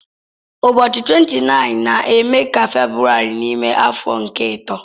Ụbọchị 29 na-eme ka February n'ime afọ nke ito.